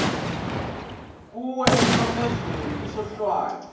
kuwe emnqamlezweni isohlwayo